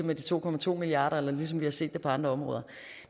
med de to to milliard kr eller ligesom vi har set det ske på andre områder